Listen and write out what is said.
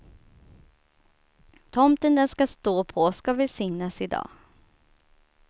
Tomten den ska stå på ska välsignas i dag.